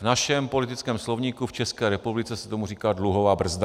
- V našem politickém slovníku v České republice se tomu říká dluhová brzda.